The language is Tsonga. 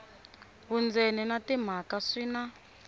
vundzeni na timhaka swi na